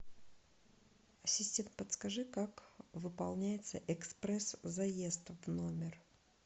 ассистент подскажи как выполняется экспресс заезд в номер